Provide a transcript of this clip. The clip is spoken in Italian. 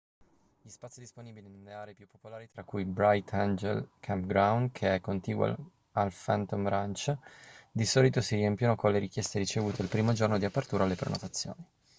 gli spazi disponibili nelle aree più popolari tra cui il bright angel campground che è contiguo al phantom ranch di solito si riempiono con le richieste ricevute il primo giorno di apertura alle prenotazioni